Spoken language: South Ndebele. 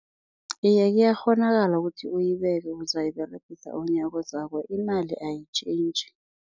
Iye, kuyakghonakala ukuthi uyibeke, uzayiberegisa unyakozako, imali ayitjhentjhi.